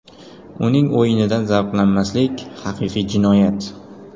Uning o‘yinidan zavqlanmaslik – haqiqiy jinoyat”.